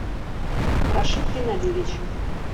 рашид геннадьевич